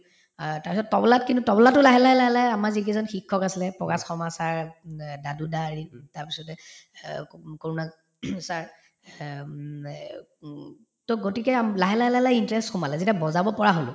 অ তাৰপিছত তবলাত কিন্তু তবলাতো লাহে লাহে লাহে লাহে আমাৰ যিকেইজন শিক্ষক আছিলে প্ৰভাত শৰ্মা sir উম অ দাদু দা তাৰপিছতে অ ক sir অ উম অ উম to গতিকে আম্ লাহে লাহে লাহে লাহে interest সোমালে যেতিয়া বজাব পৰা হলো